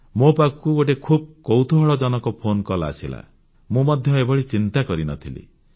ମୋ ପାଖକୁ ଗୋଟିଏ ଖୁବ୍ କୌତୁହଳଜନକ ଫୋନକଲ୍ ଆସିଲା ମୁଁ ମଧ୍ୟ ଏଭଳି ଚିନ୍ତା କରିନଥିଲି